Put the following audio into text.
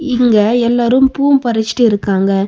இங்க எல்லாரு பூம் பறிச்சுட்டு இருக்காங்க.